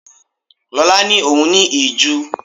Lola ni òun ní ìju.